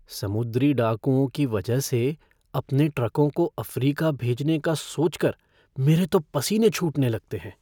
समुद्री डाकुओं के वजह से अपने ट्रकों को अफ़्रीका भेजने का सोच कर मेरे तो पसीने छूटने लगते हैं।